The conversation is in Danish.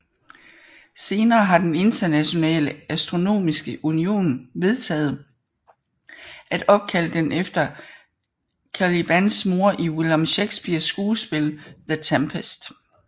Senere har den Internationale Astronomiske Union vedtaget at opkalde den efter Calibans mor i William Shakespeares skuespil The Tempest